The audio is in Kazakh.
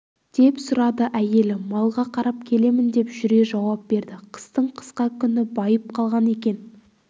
деп сұрады әйелі малға қарап келемін деп жүре жауап берді қыстың қысқа күні байып қалған екен